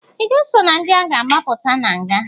I ga-eso na ndị a ga-agbapụta na nga?